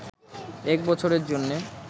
এক বছরের জন্যে